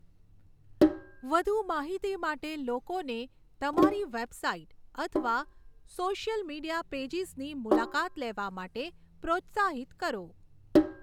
વધુ માહિતી માટે લોકોને તમારી વેબસાઇટ અથવા સોશિયલ મીડિયા પેજિસની મુલાકાત લેવા માટે પ્રોત્સાહિત કરો.